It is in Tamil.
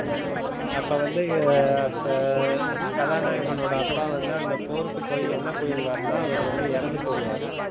அப்போ வந்து கதாநாயகனோட அப்பா வந்து போருக்கு போய் எங்க போயிருவாருணா அவரு வந்து இறந்து போயிடுவாரு.